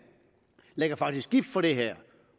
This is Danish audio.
faktisk er gift for det her